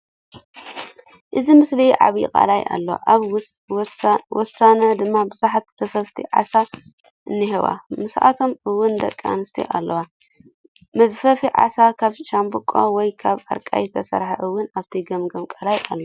እዚ ምስሊ ዓብዪ ቃላይ ኣሎ ኣብ ወሰኑ ድማ ብዙሓት ዘፈፍቲ ዓሳ እኒሀዉ ምስኣቶም እዉን ደቂ ኣንስትዮ ኣለዋ። መዝፈፊ ዓሳ ካብ ሻምቦቆ ወይ ካብ ኣርቃይ ዝተሰርሐ እዉን ኣብቲ ገምገም ቃላይ ኣሎ።